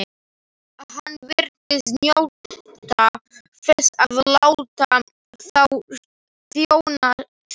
Hann virtist njóta þess að láta þá þjóna sér.